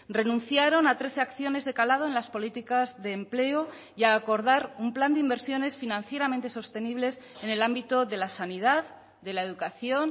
renunciaron a trece acciones de calado en las políticas de empleo y a acordar un plan de inversiones financieramente sostenibles en el ámbito de la sanidad de la educación